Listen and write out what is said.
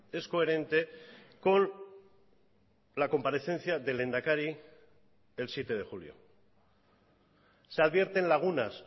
es coherente con la comparecencia del lehendakari el siete de julio se advierten lagunas